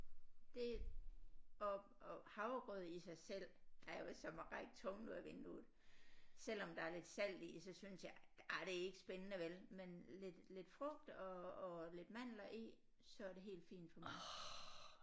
Det og og havregrød i sig selv er jo som at række tungen ud af vinduet selvom der er lidt salt i så synes jeg ah det er ikke spændende vel men lidt lidt frugt og og lidt mandler i så er det helt fint for mig